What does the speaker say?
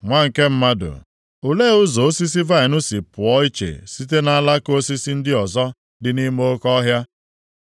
“Nwa nke mmadụ, olee, ụzọ osisi vaịnị si pụọ iche site nʼalaka osisi ndị ọzọ dị nʼime oke ọhịa?